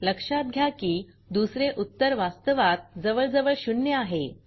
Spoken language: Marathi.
लक्षात घ्या की दुसरे उत्तर वास्तवात जवळजवळ शून्य आहे